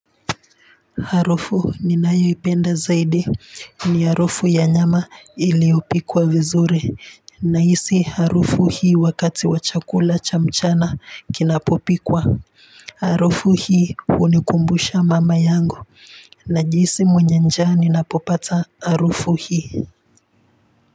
Harufu ninayo ipenda zaidi ni harufu ya nyama iliyopikwa vizuri nahisi harufu hii wakati wa chakula cha mchana kinapopikwa. Harufu hii hunikumbusha mama yangu najihisi mwenye njaa ninapopata harufu hii.